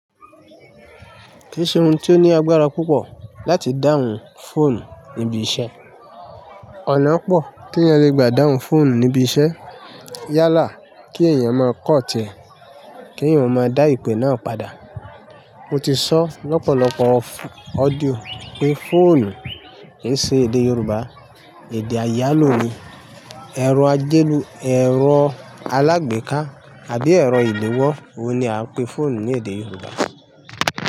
Kì í ṣe ohun tí ó ní agbára púpọ̀ láti dáhùn fóònù níbi iṣẹ́. Ọ̀nà pọ̀ tí ènìyàn le gbà dáhùn fóònù níbi iṣẹ́. Yálà kí ènìyàn máa kọ̀tẹ̀ kí ènìyàn máa dá ìpè náà padà. Mo ti sọ lọ́pọ̀lọpọ̀ audíò pé fóònù ki ṣe èdè Yorùbá. Èdè àyálò ni, ẹ̀rọ ajélù, ẹ̀rọ alágbèéká àbí ẹ̀rọ ìléwọ́, òun ni à ń pè fóònù ní èdè Yorùbá.